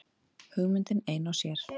Hugmyndin ein og sér.